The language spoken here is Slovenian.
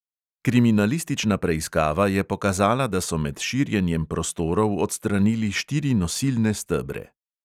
Kriminalistična preiskava je pokazala, da so med širjenjem prostorov odstranili štiri nosilne stebre.